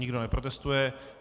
Nikdo neprotestuje.